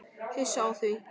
Hissa á því?